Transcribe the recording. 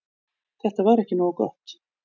Þetta var ekki nógu gott.